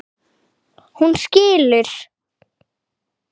Hún skilur.